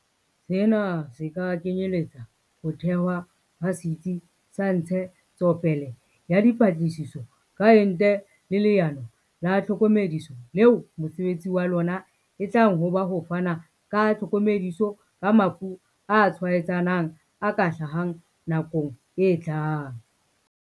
Sena se kenyeletsa ho thehwa ha Setsi sa Ntshe tsopele ya Dipatlisiso ka Ente le Leano la Tlhokomediso leo mosebetsi wa lona e tlang ho ba ho fana ka tlhokomediso ka mafu a tshwaetsanang a ka hlahang nakong e tlang.